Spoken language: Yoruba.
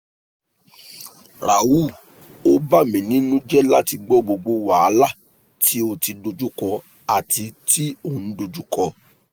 rahul o bamininujẹ lati gbọ gbogbo wahala ti o ti dojuko ati ti o n dojuko